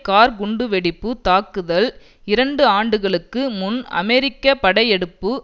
car குண்டுவெடிப்பு தாக்குதல் இரண்டு ஆண்டுகளுக்கு முன் அமெரிக்க படையெடுப்பு